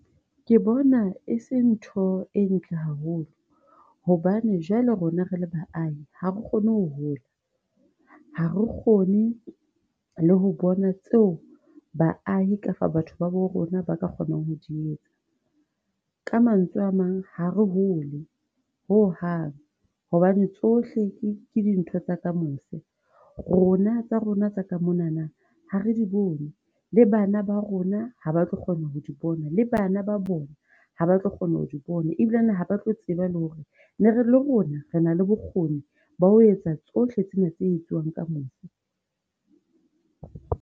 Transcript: Ke bona e se ntho e ntle haholo, hobane jwale rona re le ba ahi hare kgone ho hola, ha re kgone le ho bona tseo ba ahi kapa batho ba bo rona ba ka kgonang ho di etsa. Ka mantswe a mang hare hole hohang, hobane tsohle ke dintho tsa ka mose, rona tsa rona tsa ka monana, ha re di bone. Le bana ba rona ha ba tlo kgona ho di bona, le bana ba bona haba tlo kgona ho di bona, ebilane ha ba tlo tseba le hore le rona, re na le bokgoni ba ho etsa tsohle tsena tse etsuwang ka mose.